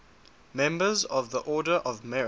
members of the order of merit